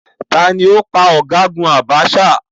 Taàní ó pa ọ̀gágun Abacha?